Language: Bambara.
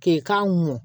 K'i k'a mɔn